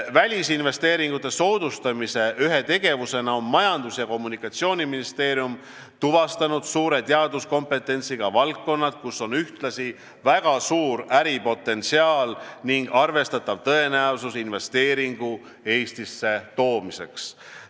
Välisinvesteeringute soodustamise ühe tegevusena on Majandus- ja Kommunikatsiooniministeerium tuvastanud suure teaduskompetentsiga valdkonnad, kus on ühtlasi väga suur äripotentsiaal ning arvestatav tõenäosus investeeringu Eestisse toomiseks.